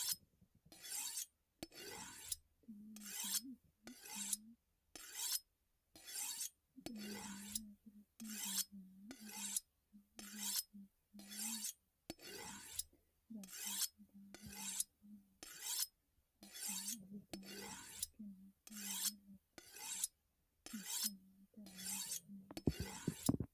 tini misile itiyopiyuunnita turiziime afriku deerrinni egensiinsanni barera daanni noha manna hatono albaanni hige nooha lame labballonna mitte mayeeta leellishshanno misileeti